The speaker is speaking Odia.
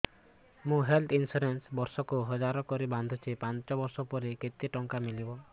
ମୁ ହେଲ୍ଥ ଇନ୍ସୁରାନ୍ସ ଏକ ବର୍ଷକୁ ହଜାର କରି ବାନ୍ଧୁଛି ପାଞ୍ଚ ବର୍ଷ ପରେ କେତେ ଟଙ୍କା ମିଳିବ